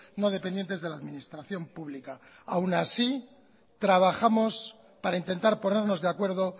no dependientes de la administración pública aún así trabajamos para intentar ponernos de acuerdo